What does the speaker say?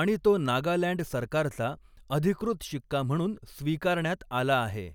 आणि तो नागालँड सरकारचा अधिकृत शिक्का म्हणून स्वीकारण्यात आला आहे.